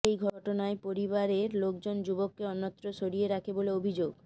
এই ঘটনায় পরিবারের লোকজন যুবককে অন্যত্র সরিয়ে রাখে বলে অভিযোগ